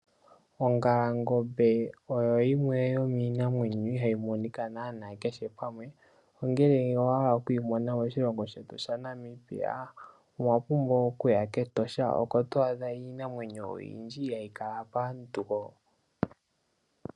Ongalangombe oyo yimwe yomiinamwenyo ihaayi monika naana kehe pamwe. Ngele owa hala oku yimona moshilongo shetu sha Namibia owa pumbwa okuya kEtosha oko twaadha iinamwenyo oyindji mbyo ihaayi kala lela paantu.